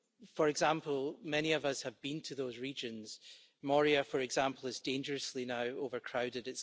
For example, many of us have been to those regions Moria, for example, is now dangerously overcrowded.